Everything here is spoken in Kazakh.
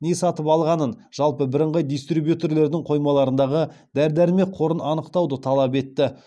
не сатып алғанын жалпы бірыңғай дистрибьютердің қоймаларындағы дәрі дәрмек қорын анықтауды талап етті